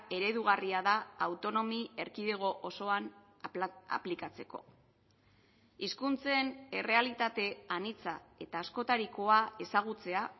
eredugarria da autonomi erkidego osoan aplikatzeko hizkuntzen errealitate anitza eta askotarikoa ezagutzea